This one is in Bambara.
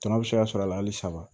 Tɔnɔ bɛ se ka sɔrɔ a la halisa